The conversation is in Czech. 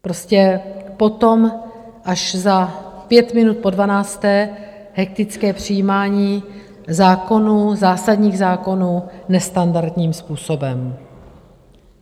Prostě potom, až za pět minut po dvanácté, hektické přijímání zákonů, zásadních zákonů nestandardním způsobem.